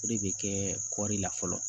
O de bɛ kɛ kɔri la fɔlɔ